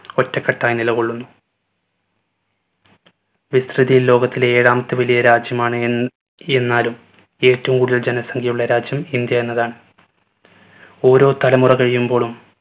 ഒറ്റക്കെട്ടായി നിലകൊള്ളുന്നു. വിസ്‌തൃതിയിൽ ലോകത്തിലെ ഏഴാമത്തെ വലിയ രാജ്യമാണ് എൻ എന്നാലും ഏറ്റവും കൂടുതൽ ജനസംഘ്യ ഉള്ള രാജ്യം ഇന്ത്യ എന്നതാണ്. ഓരോ തലമുറ കഴിയുമ്പോളും